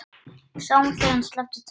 Sáum þegar hann sleppti takinu.